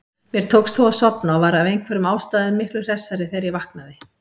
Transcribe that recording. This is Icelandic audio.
Mér tókst þó að sofna og var af einhverjum ástæðum miklu hressari þegar ég vaknaði.